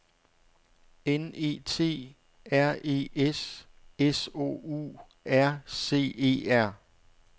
N E T R E S S O U R C E R